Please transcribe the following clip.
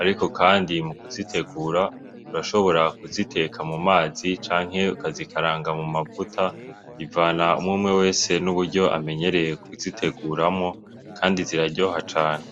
Ariko kandi mu kuzitegura urashobora kuziteka mu mazi, canke ukazikaranga mu mavuta. Bivana umwe umwe wese n'uburyo amenyereye kuziteguramwo, kandi ziraryoha cane.